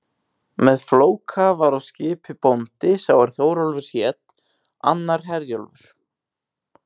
Með Flóka var á skipi bóndi sá er Þórólfur hét, annar Herjólfur.